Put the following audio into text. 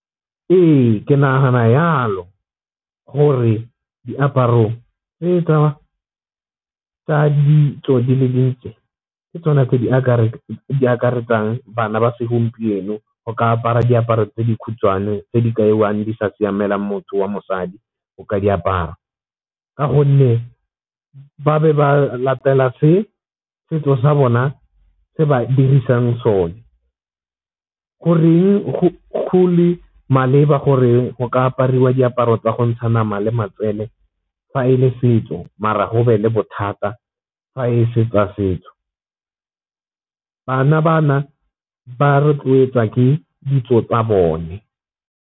Ee, ke nagana yalo gore diaparo tse tsa ditso di le dintsi ke tsona tse di akaretsang bana ba segompieno ka apara diaparo tse dikhutshwane tse di kaiwang di sa siamela motho wa mosadi o ka di apara. Ka gonne ba be ba latela se setso sa bona se ba dirisang sone. Goreng go le maleba gore go ka apariwa diaparo tsa go ntsha nama le matswele fa e le setso mara go be le bothata fa e seng tsa setso, bana ba na ba rotloetsa ke ditso tsa bone.